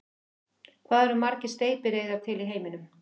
Hvað eru margar steypireyðar til í heiminum?